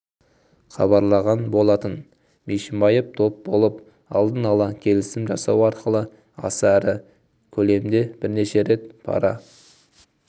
хабарлаған болатын бишімбаев топ болып алдын ала келісім жасау арқылы аса ірі көлемдебірнеше рет пара